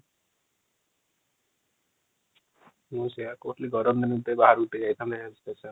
ମୁଁ ସେୟା କହୁଥିଲି ଗରମ ଦିନରେ ବାହାରକୁ ଟିକେ ଯାଇଥାନ୍ତେ